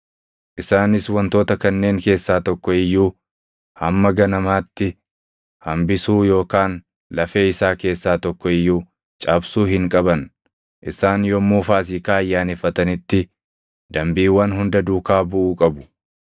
Isaanis wantoota kanneen keessaa tokko iyyuu hamma ganamaatti hambisuu yookaan lafee isaa keessaa tokko iyyuu cabsuu hin qaban. Isaan yommuu Faasiikaa ayyaaneffatanitti dambiiwwan hunda duukaa buʼuu qabu.